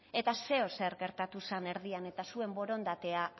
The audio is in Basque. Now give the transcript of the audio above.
eta zeozer gertatu zan erdian eta zuen borondatea